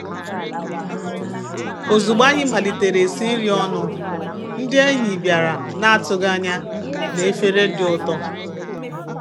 Ozugbo anyị malitere esi nri ọnụ, ndị enyi bịara na-atụghị anya na efere dị ụtọ.